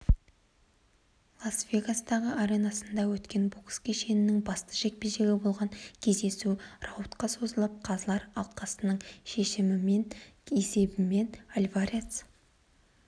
лас-вегастағы аренасында өткен бокс кешінің басты жекпе-жегі болған кездесу раудқа созылып қазылар алқасының шешімімен есебімен альварес